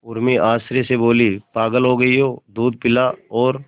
उर्मी आश्चर्य से बोली पागल हो गई है दूध पिला और